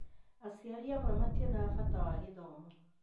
Aciari amwe mationags bata wa gĩthomo.